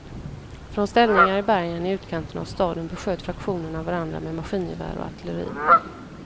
Från ställningar i bergen i utkanten av staden besköt fraktionerna varandra med maskingevär och artilleri.